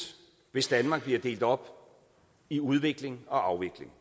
hvis danmark bliver delt op i udvikling og afvikling